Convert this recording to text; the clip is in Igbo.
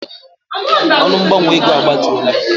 Ọnụ mgbanwe ego a gbatuola.